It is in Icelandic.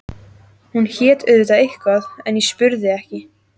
Hún hét auðvitað eitthvað en ég spurði ekki.